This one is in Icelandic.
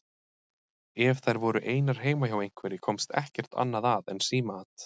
Ef þær voru einar heima hjá einhverri komst ekkert annað að en símaat.